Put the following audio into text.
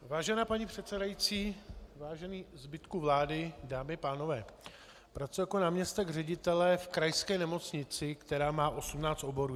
Vážená paní předsedající, vážený zbytku vlády, dámy a pánové, pracuji jako náměstek ředitele v krajské nemocnici, která má 18 oborů.